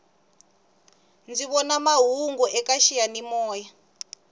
ndzi vona mahungu eka xiyani moya